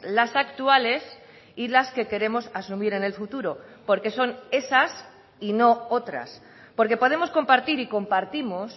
las actuales y las que queremos asumir en el futuro porque son esas y no otras porque podemos compartir y compartimos